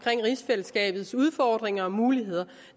rigsfællesskabets udfordringer og muligheder